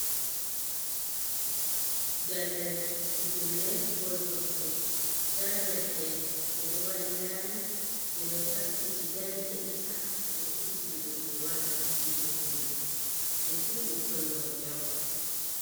Daldal pijirle bol kosɗe, nda derke'en ɓeɗo waɗi laayi ɓe ɗo taskiti dari heɗita, ɓeɗo ekkitina ɓe no ɓe waɗata pijerde man, ɓe fu ɓukkoi worɓe on.